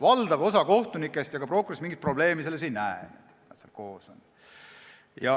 Valdav osa kohtunikest ja ka prokuröridest mingit probleemi selles ei näe, et nad koos on.